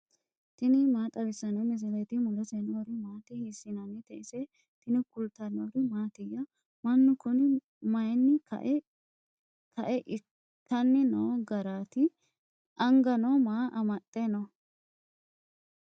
tini maa xawissanno misileeti ? mulese noori maati ? hiissinannite ise ? tini kultannori mattiya? Mannu kunni mayiinni kae ikkanni noo garaatti? anganno maa amaxxe nooho?